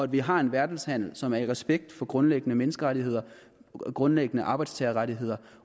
vi har en verdenshandel som så har respekt for grundlæggende menneskerettigheder grundlæggende arbejdstagerrettigheder